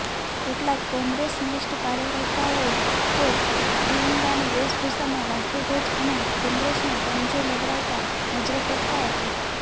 કેટલાક કોંગ્રેસનિષ્ઠ કાર્યકર્તાઓ તો ત્રિરંગાની વેશભૂષામાં રાષ્ટ્રધ્વજ અને કોંગ્રેસનો પંજો લહેરાવતા નજરે પડતા હતા